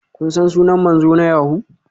Kun san sunan manzo na yahoo?